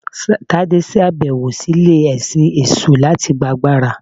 Tade ṣabẹwo si ile-ẹsin eṣu latí gbá àgbará.